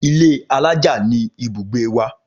Ilé alájà ni ibùgbé wa